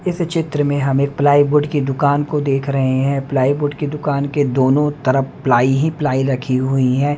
इस चित्र में हम एक प्लाई बोर्ड की दुकान को देख रहे हैं प्लाई बोर्ड की दुकान के दोनों तरफ प्लाई ही प्लाई रखी हुई है।